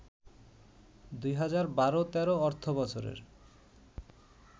২০১২-১৩ অর্থবছরের